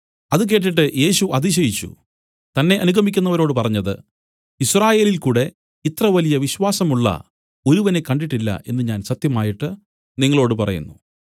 അത് കേട്ടിട്ട് യേശു അതിശയിച്ചു തന്നെ അനുഗമിക്കുന്നവരോട് പറഞ്ഞത് യിസ്രായേലിൽകൂടെ ഇത്രവലിയ വിശ്വാസമുള്ള ഒരുവനെ കണ്ടിട്ടില്ല എന്നു ഞാൻ സത്യമായിട്ട് നിങ്ങളോടു പറയുന്നു